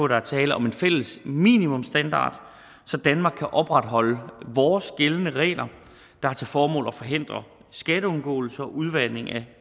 der er tale om en fælles minimumsstandard så danmark kan opretholde vores gældende regler der har til formål at forhindre skatteundgåelse og udvanding af